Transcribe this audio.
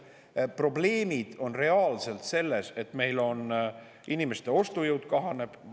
Probleem on reaalselt selles, et inimeste ostujõud kahaneb.